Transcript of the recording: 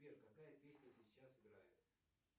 сбер какая песня сейчас играет